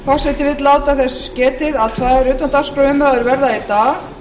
forseti vill láta þess getið að tvær utandagskrárumræður verða í dag